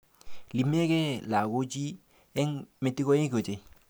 Iimike lakochi eng' metikoik ochei